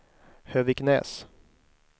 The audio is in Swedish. Höviksnäs